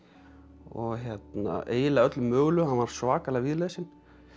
og eiginlega öllu mögulegu hann var svakalega víðlesinn